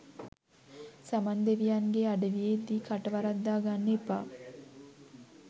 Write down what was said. සමන් දෙවියන්ගෙ අඩවියේදි කට වරද්දා ගන්න එපා